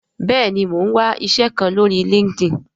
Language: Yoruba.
bẹẹni, Mọ n wá iṣé kán lórí Linkedin